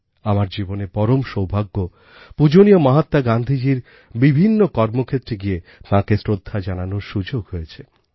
আমার জীবনের পরম সৌভাগ্য পূজনীয় মহাত্মা গান্ধীজীর বিভিন্ন কর্মক্ষেত্রে গিয়ে তাঁকে শ্রদ্ধা জানানোর সুযোগ হয়েছে